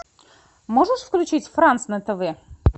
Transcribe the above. можешь включить франс на тв